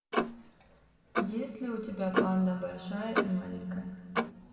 есть ли у тебя панда большая и маленькая